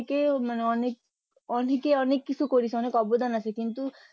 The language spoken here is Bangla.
কেউ অনেক অনেকে অনেক কিছু করেছে অনেক অবদান আছে কিন্তু